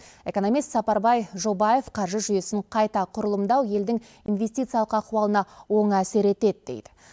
экономист сапарбай жобаев қаржы жүйесін қайта құрылымдау елдің инвестициялық ахуалына оң әсер етеді дейді